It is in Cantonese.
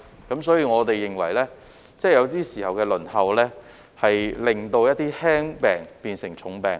因此，我們認為有些時候，輪候令輕病變成重病。